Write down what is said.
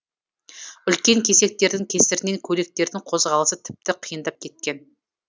үлкен кесектердің кесірінен көліктердің қозғалысы тіпті қиындап кеткен